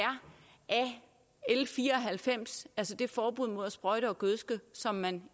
l fire og halvfems altså det forbud mod at sprøjte og gødske som man